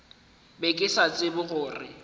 be ke sa tsebe gore